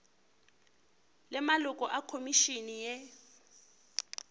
le maloko a khomišene ye